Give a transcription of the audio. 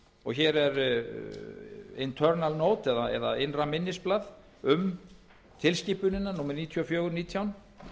og hér er internal note eða innra minnisblað um tilskipunina númer níu þúsund fjögur hundruð og nítján